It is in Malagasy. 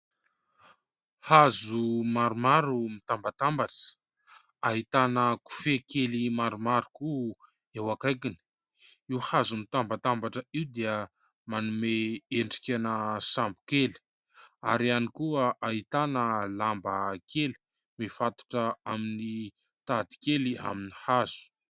Hazo maromaro mitambatambatra ahitana kofehy kely maromaro koa eo akaikiny. Io hazo mitambatambatra io dia manome endrikana sambo kely ary ihany koa ahitana lamba kely mifatotra amin'ny tady kely amin'ny hazo.